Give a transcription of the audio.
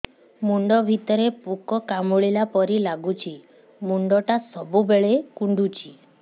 ମୁଣ୍ଡ ଭିତରେ ପୁକ କାମୁଡ଼ିଲା ପରି ଲାଗୁଛି ମୁଣ୍ଡ ଟା ସବୁବେଳେ କୁଣ୍ଡୁଚି